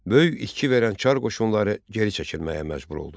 Böyük itki verən çar qoşunları geri çəkilməyə məcbur oldu.